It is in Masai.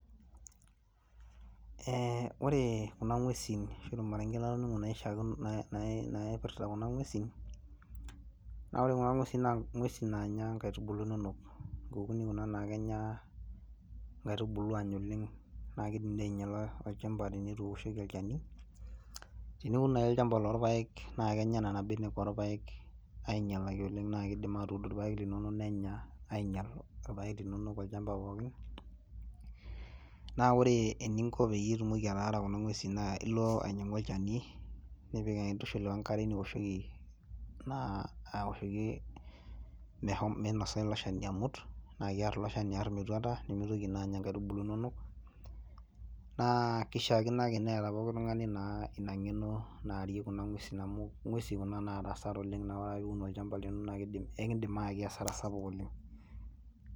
Ore kuna ng'wesin ashu ormaringe latoning'o naa ipirta kuna ng'wesin naa ore kuna ng'wesin naa ng'wesin naanya nkaitubulu inonok. Nkukuni kuna naa kenya nkaitubulu aanya oleng naa iidim dii ainyala olchamba oleng tenetu iwoshoki olchani. Teniun naa ake olchamba lorpaek naa kenya nena benek orpaek ainyalaki oleng naa kiidim aatuud irpaek linonok nenya ainyal irpaek linono tolchamba pookin. Naa ore eninko piitumoki ataara kuna ng'wesi naa ilo ainyang'u olchani nepik nintushul we nkare niwoshoki naa awoshoki minosa ilo shani amut nakiarr ilo shani aarr metwata nemitoki naa anya nkaitubulu inonok. Naa kishiakino ake neeta pooki tung'ani naa ina ng'eno naarie kuna ng'wesi amu ng'wesin naata hasara oleng naa ore ake piun olchamba lino naa kiindim, aikindim aayaki hasara sapuk oleng